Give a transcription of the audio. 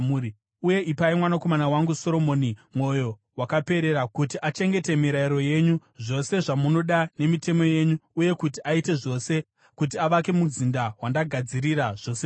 Uye ipai mwanakomana wangu Soromoni mwoyo wakaperera kuti achengete mirayiro yenyu, zvose zvamunoda nemitemo yenyu uye kuti aite zvose kuti avake muzinda wandagadzirira zvose izvi.”